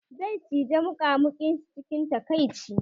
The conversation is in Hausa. Zai cije muƙamuƙin shi cikin takaici